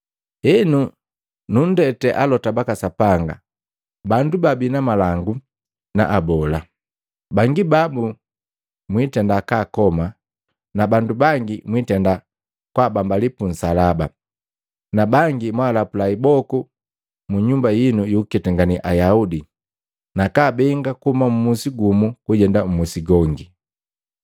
Henu nundete alota baka Sapanga, bandu babii na malangu na abola. Bangi babu mwitenda kaakoma na bandu bangi mwiitenda kwaabambali pu nsalaba, na bangi mwaalapula iboku munyumba yinu yukuketangane Ayaudi nakaabenga kuhuma mmusi gumu kujenda mmusi gongi.